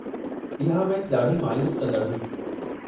इहा मैचि ॾाढी मायूस कंदड़ु हुई।